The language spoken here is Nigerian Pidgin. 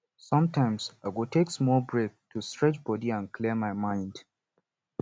sometimes i go take small break to stretch body and clear my mind